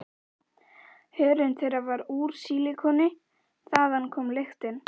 Hörund þeirra var úr sílikoni- þaðan kom lyktin.